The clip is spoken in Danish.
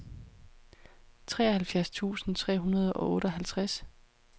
treoghalvfjerds tusind tre hundrede og otteoghalvtreds